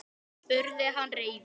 spurði hann reiður.